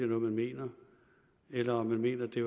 noget man mener eller om man mener at det